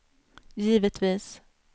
givetvis